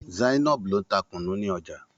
Zainab ló ń ta kunu ní ọjà.